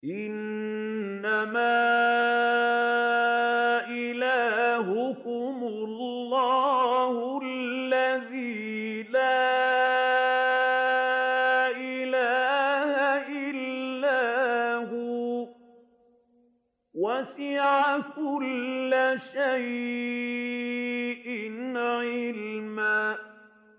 إِنَّمَا إِلَٰهُكُمُ اللَّهُ الَّذِي لَا إِلَٰهَ إِلَّا هُوَ ۚ وَسِعَ كُلَّ شَيْءٍ عِلْمًا